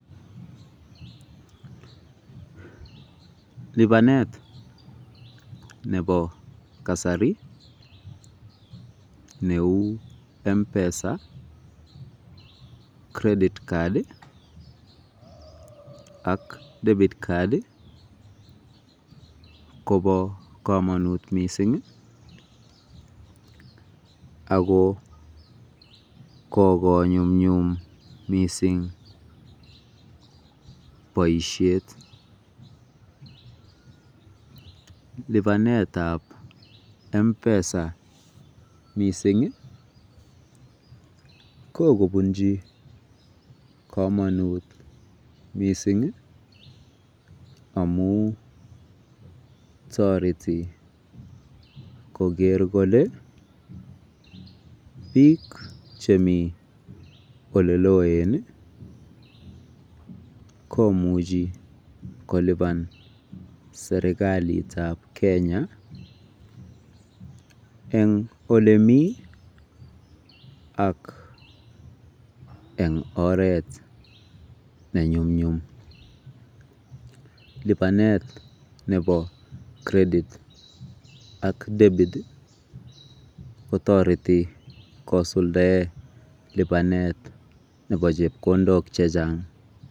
Lipanet nebo kasari neu Mpesa, Credit Card ak Debit Card kobo komonut mising ako kokonyumnyum mising boisiet . Lipanetab Mpesa kokobunji komonut amu toreti koker kole biik chemi oleloen komuchi kolipan serekalitab kenya eng olemi ak eng oret nenyumnyum. Lipanet nebo Credit ak Debit kotoreti kosuldae lipanet nebo chepkondok chechang.